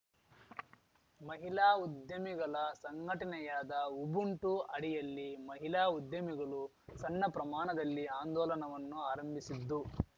ಮಹಿಲಾ ಉದ್ಯಮಿಗಲ ಸಂಘಟನೆಯಾದ ಉಬುಂಟು ಅಡಿಯಲ್ಲಿ ಮಹಿಲಾ ಉದ್ಯಮಿಗಳು ಸಣ್ಣ ಪ್ರಮಾಣದಲ್ಲಿ ಆಂದೋಲನವನ್ನು ಆರಂಭಿಸಿದ್ದು